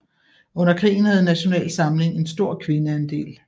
Under krigen havde Nasjonal Samling en stor kvindeandel